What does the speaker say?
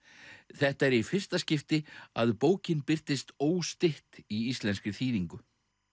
þetta er í fyrsta skipti að bókin birtist óstytt í íslenskri þýðingu